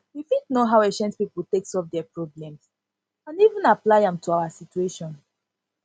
we fit know how ancient pipo take solve their problems and even apply am even apply am to our situation